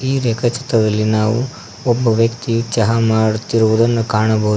ಈ ರೇಖಾ ಚಿತ್ರದಲ್ಲಿ ನಾವು ಒಬ್ಬ ವ್ಯಕ್ತಿ ಚಹಾ ಮಾರುತ್ತಿರುವುದನ್ನು ಕಾಣಬಹುದು.